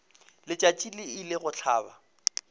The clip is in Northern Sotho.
letšatši le ile go hlaba